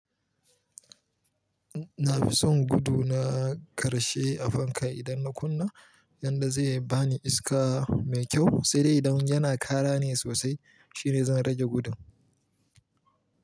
Na fi son gudu na ƙarshe a fanka idan na kunna, yanda zai bani iska mai kyau sai dai idan yana ƙara ne sosai shine zan rage gudun.